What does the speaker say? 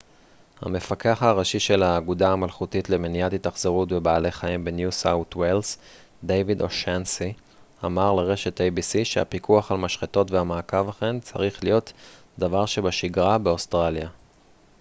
המפקח הראשי של האגודה המלכותית למניעת התאכזרות בבעלי חיים בניו סאות' ווילס דיוויד אושאנסי אמר לרשת איי-בי-סי שהפיקוח על משחטות והמעקב אחריהן צריך להיות דבר שבשגרה באוסטרליה